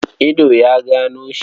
Ido ya gano shi.